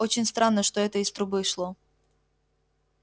очень странно что это из трубы шло